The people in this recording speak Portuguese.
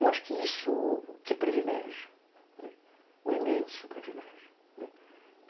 Eu acho que isso, que privilégio, um imenso privilégio.